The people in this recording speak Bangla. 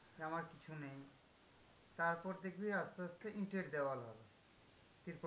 যে আমার কিছু নেই, তারপর দেখবি আস্তে আস্তে ইঁটের দেওয়াল হবে।